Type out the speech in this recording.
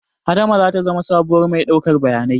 Adama zata zama sabuwar mai ɗaukar bayanai